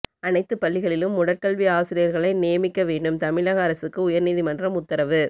அனைத்துப் பள்ளிகளிலும் உடற்கல்வி ஆசிரியர்களை நியமிக்க வேண்டும் தமிழக அரசுக்கு உயர்நீதிமன்றம் உத்தரவு